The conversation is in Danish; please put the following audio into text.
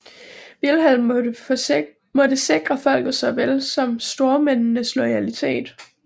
Vilhelm måtte sikre folkets såvel som stormændenes loyalitet